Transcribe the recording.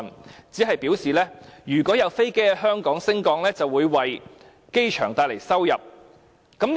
政府只表示，如果有飛機在香港升降，便會為機場帶來收入。